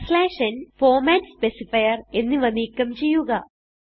backslash ന് format specifier എന്നിവ നീക്കം ചെയ്യുക